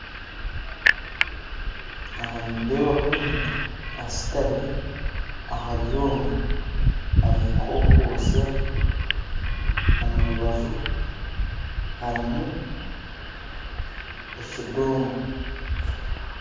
Aha nindebaho omuntu ashutami aha byoma arinka arukwostya, omu rubaju harumu ekidongo